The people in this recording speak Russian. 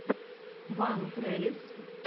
вайн крелез